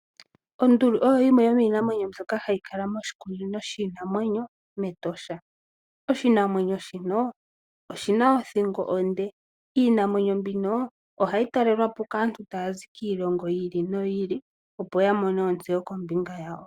Onduli oyo oshinamwenyo shoka hashi kala mEtosha. Onduli oyina othingo onde, ohayi talelwa po kaantu taya zi kiilongo yi ili noyi ili opo yamone ontseyo kombinga yawo.